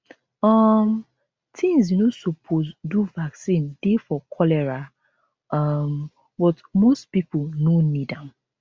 um tins you no suppose do vaccine dey for cholera um but most pipo no need am